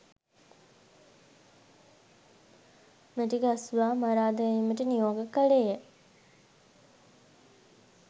මැටිගස්සවා මරා දැමීමට නියෝග කළේය